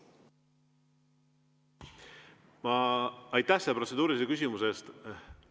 Aitäh selle protseduurilise küsimuse eest!